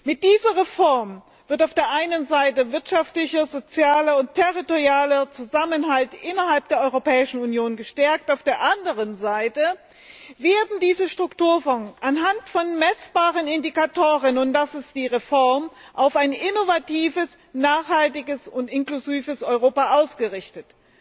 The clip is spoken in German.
Mit dieser Reform wird auf der einen Seite wirtschaftlicher, sozialer und territorialer Zusammenhalt innerhalb der Europäischen Union gestärkt, auf der anderen Seite werden diese Strukturfonds anhand von messbaren Indikatoren und das ist die Reform auf ein innovatives, nachhaltiges und inklusives Europa ausgerichtet.